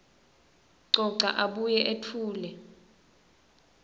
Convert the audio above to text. coca abuye etfule